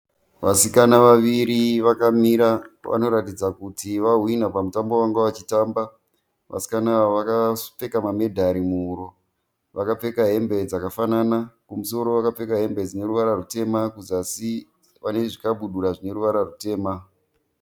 Vasikana vaviri vakamira. Vanoratidza kuti va hwina pamutambo wavanga vachitamba. Vasikana ava vakapfeka ma medhari muhuro. Vakapfeka hembe dzakafanana. Kumusoro vakapfeka hembe dzine ruvara rutema kuzasi vane zvikabudura zvine ruvara rutema.